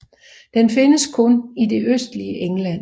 Den findes kun i det østligste England